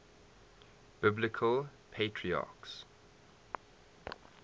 biblical patriarchs